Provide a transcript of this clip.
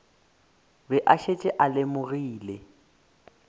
be a šetše a lemogile